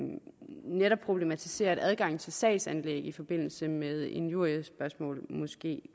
netop problematiserer at adgang til sagsanlæg i forbindelse med injuriespørgsmål måske